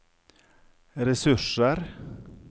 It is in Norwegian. ressurser